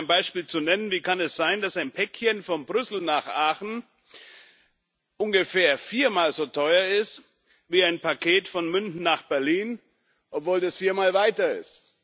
Um nur mal ein Beispiel zu nennen Wie kann es sein, dass ein Päckchen von Brüssel nach Aachen ungefähr viermal so teuer ist wie ein Paket von München nach Berlin, obwohl das viermal weiter ist?